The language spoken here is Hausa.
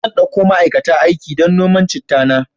Zan dauko ma'aikata aiki don noman chitta na.